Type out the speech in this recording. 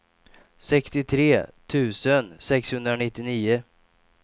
sextiotre tusen sexhundranittionio